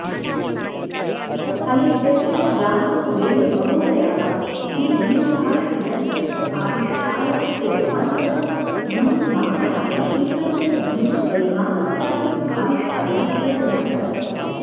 अलेग्जेण्डरग्राहमबेलमहोदयाः ये दूरभाषयन्त्रस्य आविष्कारः कृतवन्तः ध्वनिमापनाय एकस्य ध्वनिपरिमापस्याऽपि आविष्कारः कृतवन्तः